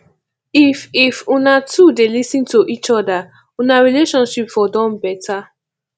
if if una two dey lis ten to eachoda una relationship for don beta